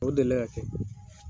O delila ka kɛ